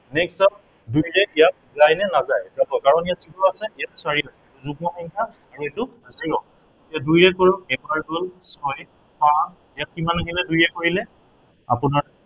next যাম দুইৰে ইয়াক যায়নে নাযায়। যাব, কাৰন ইয়াত যিটো আছে, ইয়াত চাৰি হয়। যুগ্ম সংখ্য়া ইয়াত এইটো zero এতিয়া দুইৰে কৰো এবাৰ গল, ছয়, সাত। ইয়াত কিমান আহিলে দুইৰে কৰিলে, আপোনাৰ